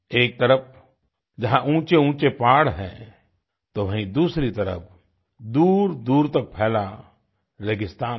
एक तरफ जहाँ ऊँचे ऊँचे पहाड़ हैं तो वहीँ दूसरी तरफ दूरदूर तक फैला रेगिस्तान है